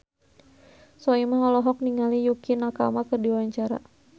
Soimah olohok ningali Yukie Nakama keur diwawancara